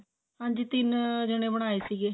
ਹਾਂਜੀ ਤਿੰਨ ਜਣੇ ਬਣਾਏ ਸੀਗੇ